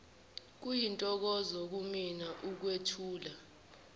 kuyintokozo kimina ukwethula